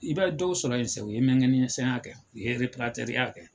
I bɛ dɔw sɔrɔ ye u ye mɛngɛnisɛnya kɛ u ye rɛparatɛriya kɛ.